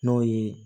N'o ye